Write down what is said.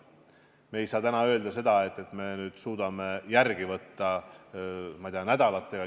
Me ei saa täna öelda, et me suudame järele võtta, ma ei tea, nädalatega.